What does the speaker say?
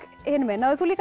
hinum megin náðir þú líka